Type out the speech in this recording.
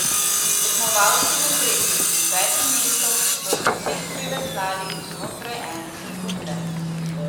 Tekmovalci med tretjim in petim mestom so v cilj priveslali znotraj ene sekunde.